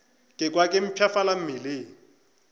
ka kwa ke mpshafala mmeleng